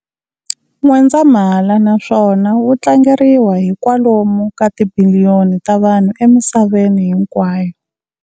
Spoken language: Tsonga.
N'wendzamhala naswona wu tlangeriwa hi kwalomu ka tibiliyoni ta vanhu emisaveni hinkwayo.